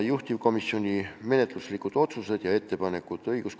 Juhtivkomisjoni menetluslikud otsused ja ettepanekud on järgmised.